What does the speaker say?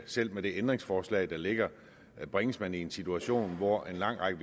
selv med det ændringsforslag der ligger bringes man i en situation hvor en lang række